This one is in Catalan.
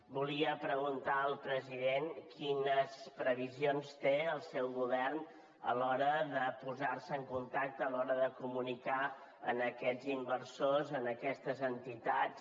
volia preguntar al president quines previsions té el seu govern a l’hora de posar se en contacte a l’hora de comunicar a aquests inversors a aquestes entitats